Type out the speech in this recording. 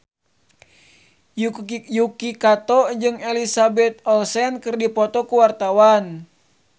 Yuki Kato jeung Elizabeth Olsen keur dipoto ku wartawan